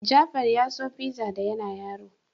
Jafar ya so fiza da yana yaro.